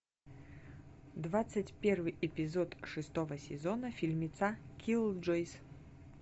двадцать первый эпизод шестого сезона фильмеца киллджойс